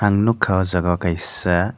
ang nogka o jaga o kaisa.